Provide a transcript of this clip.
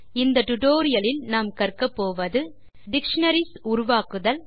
இந்த டுடோரியலின் முடிவில் செய்ய முடிவது டிக்ஷனரிஸ் உருவாக்குதல்